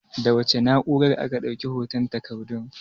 Da wace na'urar aka ɗauki hoton takardun?